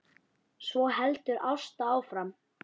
Svo heldur Ásta áfram